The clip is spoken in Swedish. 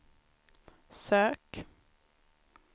sök